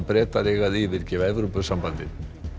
Bretar eiga að yfirgefa Evrópusambandið